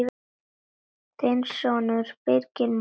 Þinn sonur, Birgir Már.